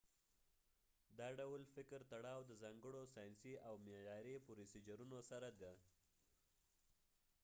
دا ډول فکر تړاو د ځانګړو ساینسی او معیاری پروسیجرونو سره دي